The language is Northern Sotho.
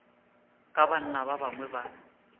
ka banna ba bangwe ba